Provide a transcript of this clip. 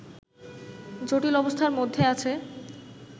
জটিল অবস্থার মধ্যে আছে